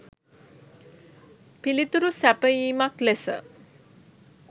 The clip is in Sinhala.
පිළිතුරු සැපයීමක් ලෙස